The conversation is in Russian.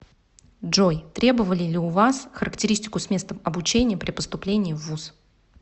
джой требовали ли у вас характеристику с места обучения при поступлении в вуз